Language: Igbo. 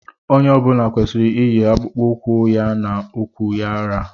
Onye ọ bụla kwesịrị iyi akpụkpọ ụkwụ ya na ukwu ya ra.